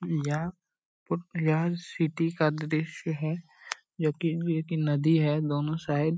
यह सिटी का दृश्य है जो की जो नदी है दोनों साइड ।